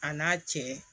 A n'a cɛ